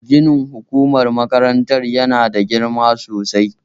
Ginin hukumar makarantar yana da girma sosai